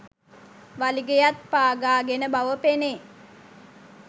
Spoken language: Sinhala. වලිගයත් පාගාගෙන බව පෙනේ.